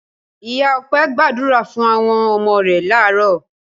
Ìyá Ọpẹ́ gbàdúrà fún àwọn ọmọ rẹ̀ láàárọ̀.